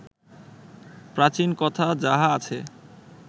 প্রাচীন কথা যাহা আছে